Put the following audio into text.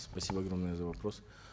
спасибо огромное за вопрос